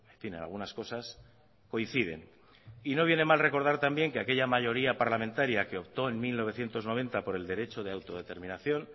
fin en algunas cosas coinciden y no viene mal recordar también que aquella mayoría parlamentaria que optó en mil novecientos noventa por el derecho de autodeterminación